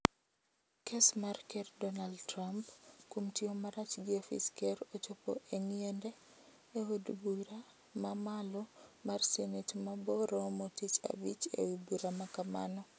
Kes mar ker Dornald Trump kuom tiyo marach gi ofis ker ochopo e ngiende e od bura ma malo mar senet ma bo romo tich abich ewi bura makamano.